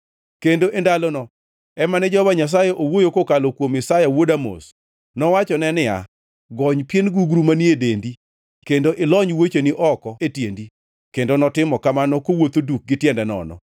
kendo e ndalono ema ne Jehova Nyasaye owuoyo kokalo kuom Isaya wuod Amoz. Nowachone niya, “Gony pien gugru manie dendi kendo ilony wuocheni oko e tiendi.” Kendo notimo kamano kowuotho duk gi tiende nono.